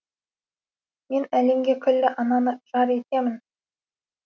мен әлемге күллі ананы жар етем